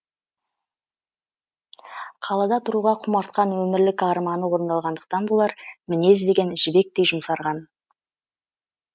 қалада тұруға құмартқан өмірлік арманы орындалғандықтан болар мінез деген жібектей жұмсарған